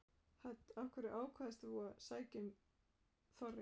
Hödd: Af hverju ákvaðst þú að sækja um Þorri?